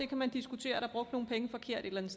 kan diskutere er der brugt nogle penge forkert et eller